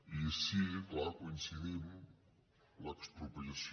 i sí clar coincidim l’expropiació